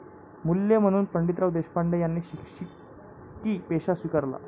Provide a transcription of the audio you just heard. मूल्य म्हणून पंडितराव देशपांडे यांनी शिक्षकी पेशा स्वीकारला.